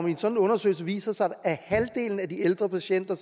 i en sådan undersøgelse viser sig at halvdelen af de ældre patienter